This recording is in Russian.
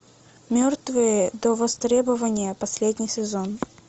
мертвые до востребования последний сезон